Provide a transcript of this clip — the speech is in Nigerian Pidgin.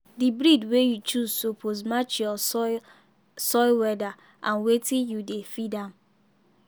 the breed wey you choose suppose match your soil soil weather and wetin you dey feed am.